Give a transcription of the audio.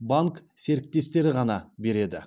банк серіктестері ғана береді